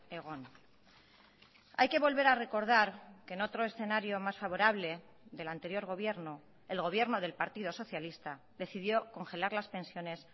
egon hay que volver a recordar que en otro escenario más favorable del anterior gobierno el gobierno del partido socialista decidió congelar las pensiones